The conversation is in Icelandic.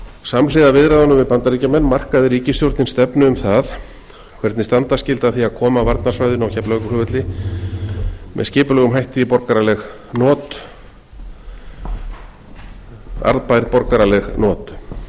samhliða viðræðunum við bandaríkjamenn markaði ríkisstjórnin stefnu um það hvernig standa skyldi að því að koma varnarsvæðinu á keflavíkurflugvelli með skipulegum hætti í arðbær borgaraleg not